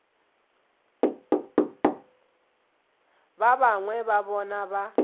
ba bangwe ba bona ba